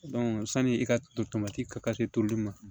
sani i ka to tomati ka se toli ma